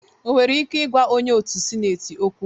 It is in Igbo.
Ọ nwere ike ịgwa onye otu sineti okwu?